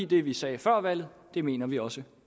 det vi sagde før valget mener vi også